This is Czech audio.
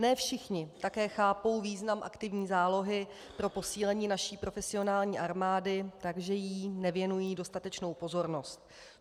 Ne všichni také chápou význam aktivní zálohy pro posílení naší profesionální armády, takže jí nevěnují dostatečnou pozornost.